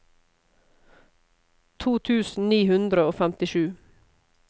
to tusen ni hundre og femtisju